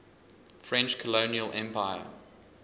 french colonial empire